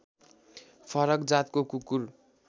फरक जातको कुकुर